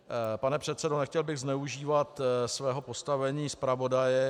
Pane předsedo, nechtěl bych zneužívat svého postavení zpravodaje.